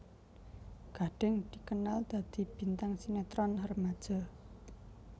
Gading dikenal dadi bintang sinetron remaja